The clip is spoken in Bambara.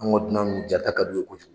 An ka dunan nunnu ja ta ka du ye cojugu.